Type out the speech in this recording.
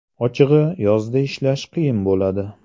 Ochig‘i, yozda ishlash qiyin bo‘ladi.